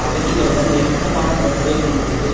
அகதிகளுடன் நெருக்கமான தொடர்பைக் கொண்டுள்ளது